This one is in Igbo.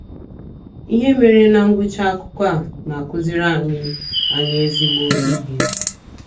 Ihe mere ná ngwụcha akụkọ a na - akụziri anyị anyị ezigbo ihe.